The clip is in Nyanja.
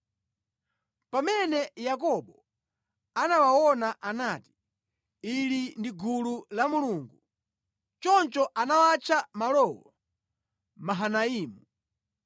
Pamene Yakobo anawaona anati, “Ili ndi gulu la Mulungu.” Choncho anawatcha malowo Mahanaimu.